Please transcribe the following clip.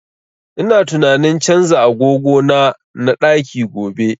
Ina tunanin canza agogo na na ɗaki gobe